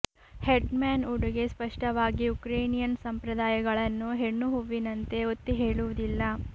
head man ಉಡುಗೆ ಸ್ಪಷ್ಟವಾಗಿ Ukrainian ಸಂಪ್ರದಾಯಗಳನ್ನು ಹೆಣ್ಣು ಹೂವಿನಂತೆ ಒತ್ತಿಹೇಳುವುದಿಲ್ಲ